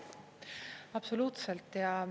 Absoluutselt!